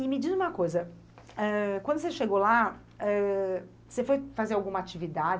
E me diz uma coisa, Eh.. quando você chegou lá, Eh.. você foi fazer alguma atividade?